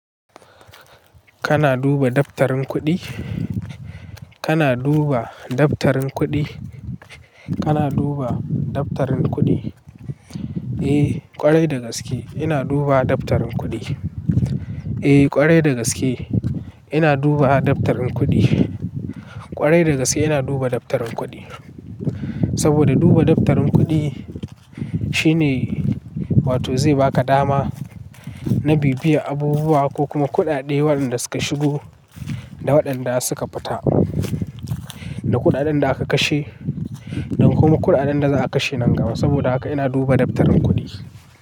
Kana duba daftarin kuɗi? Kana duba daftarin kuɗi? Kana duba daftarin kuɗi? Eh, ƙwarai dagaske ina duba daftarin kuɗi. Eh, ƙwarai dagaske ina duba daftarin kuɗi. Ƙwarai dagaske ina duba daftarin kuɗi. Saboda duba daftarin kuɗi shine wato zai baka dama na bibiye abubuwa ko kuma kuɗaɗe waɗanda suka shigo da waɗanda suka fita, da kuɗaɗen da aka kashe, don kuma kuɗaɗen da za a kashe nan gaba. Saboda haka ina duba daftarin kuɗi.